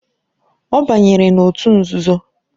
Ọ banyere na òtù nzuzo.